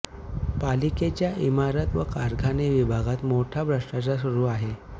पालिकेच्या इमारत व कारखाने विभागात मोठा भ्रष्टाचार सुरु आहे